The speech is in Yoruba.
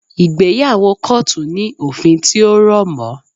Ìgbéyàwó kọ́ọ̀tù ní òfin tí ó rọ̀ mọ́